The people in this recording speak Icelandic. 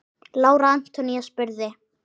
Lára Antonía spurði.